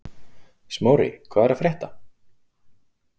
Smári, hvað er að frétta?